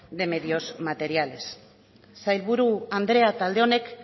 de medios materiales sailburu andrea talde honek